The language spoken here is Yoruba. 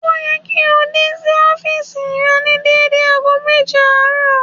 Ó yẹ kí ó dé sí ọ́fììsì rẹ̀ ní dédé ago méje àárọ̀